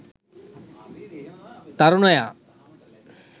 tharunaya